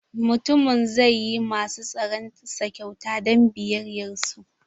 Mutumin zai yi masu tsaron sa kyauta don biyayyar su.